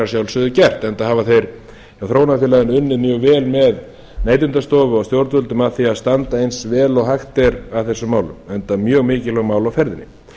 sjálfsögðu gert enda hafa þeir hjá þróunarfélaginu unnið mjög vel með neytendastofu og stjórnvöldum að því að standa eins vel og hægt er að þessum málum enda um mjög mikilvæg mál á ferðinni